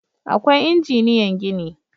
Akwai injiniyan gini